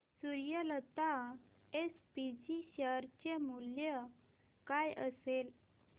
Suryalata SPG शेअर चे मूल्य काय असेल